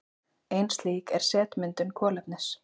Ein slík er setmyndun kolefnis.